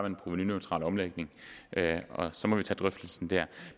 en provenuneutral omlægning og så må vi tage drøftelsen der